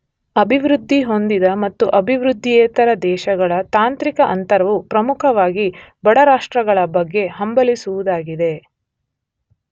ಅಭಿವೃದ್ಧಿಹೊಂದಿದ ಮತ್ತು ಅಭಿವೃದ್ದಿಯೇತರ ದೇಶಗಳ ತಾಂತ್ರಿಕ ಅಂತರವು ಪ್ರಮುಖವಾಗಿ ಬಡರಾಷ್ಟ್ರಗಳ ಬಗ್ಗೆ ಹಂಬಲಿಸುವುದಾಗಿದೆ.